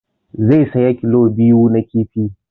Zai saya kilo biyu na kifi